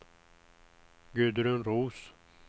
Gudrun Roos